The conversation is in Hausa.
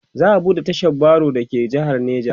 za'a buɗe tashar baro da ke jehar neja